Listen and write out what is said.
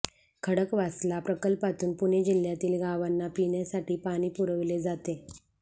खडकवासला प्रकल्पातून पुणे जिल्ह्यातील गावांना पिण्यासाठी पाणी पुरविले जाते